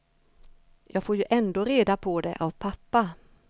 Jag får ju ändå reda på det av pappa.